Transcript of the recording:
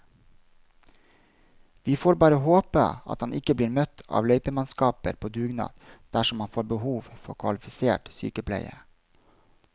Vi får bare håpe at han ikke blir møtt av løypemannskaper på dugnad dersom han får behov for kvalifisert sykepleie.